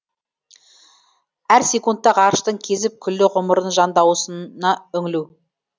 әр секундта ғарыштың кезіп күллі ғұмырын жан дауысына үңілу